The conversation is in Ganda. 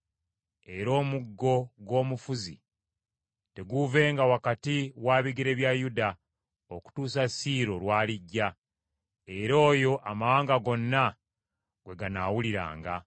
Era omuggo gw’omufuzi teguuvenga wakati wa bigere bya Yuda, okutuusa Siiro lw’alijja; era oyo amawanga gonna gwe ganaawuliranga.